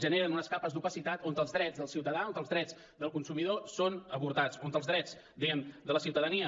generen unes capes d’opacitat on els drets dels ciutadans on els drets del consumidor són avortats on els drets diguem ne de la ciutadania